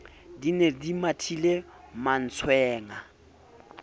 di ne di mathile mantswenga